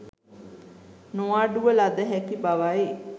නොඅඩුව ලද හැකි බවයි.